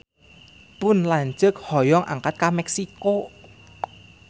Pun lanceuk hoyong angkat ka Meksiko